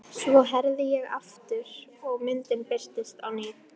Svo herði ég aftur og myndin birtist á ný.